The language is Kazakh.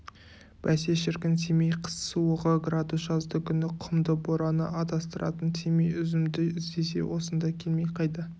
бәсе шіркін семей қыс суығы градус жаздыгүні құмды бораны адастыратын семей үзімді іздесе осында келмей қайда